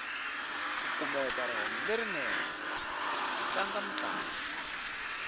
ku kumeka rihanyu lerinene ku tlanga mintlangu